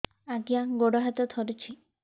ଆଜ୍ଞା ଗୋଡ଼ ହାତ ଥରୁଛି